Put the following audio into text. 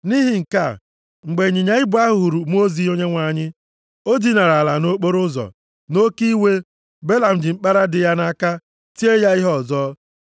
Nʼihi nke a, mgbe ịnyịnya ibu ahụ hụrụ mmụọ ozi Onyenwe anyị o dinara ala nʼokporoụzọ. Nʼoke iwe, Belam ji mkpara dị ya nʼaka tie ya ihe ọzọ.